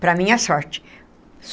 Para a minha sorte.